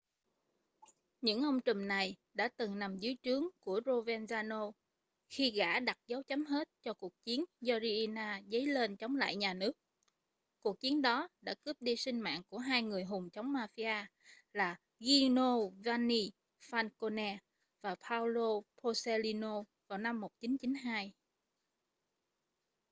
những ông trùm này đã từng nằm dưới trướng của provenzano khi gã đặt dấu chấm hết cho cuộc chiến do riina dấy lên chống lại nhà nước cuộc chiến đó đã cướp đi sinh mạng của hai người hùng chống mafia là giovanni falcone và paolo borsellino vào năm 1992